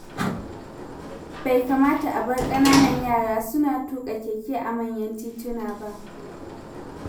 Bai kamata a bar ƙananan yara suna tuƙa keke a manyan tituna ba.